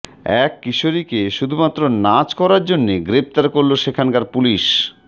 এক কিশোরীকে শুধুমাত্র নাচ করার জন্যে গ্রেফতার করল সেখানকার পুলিশ